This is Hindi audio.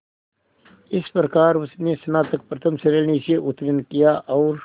इस प्रकार उसने स्नातक प्रथम श्रेणी से उत्तीर्ण किया और